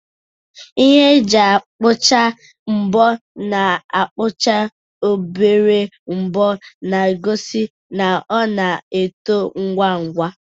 Ihe eji akpachai mbo na-akpụcha obere mbọ, na-egosi na ọ na-eto ngwa ngwa.